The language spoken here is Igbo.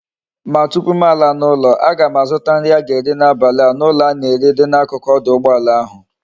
Ma tupu m ala na ulo a gam azuta nri m ga eri na abali a na ulo a na ere nri di na akuku oduugboala ahu